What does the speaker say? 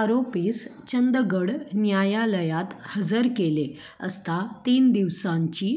आरोपीस चंदगड न्यायालयात हजर केले असता तीन दिवसांजी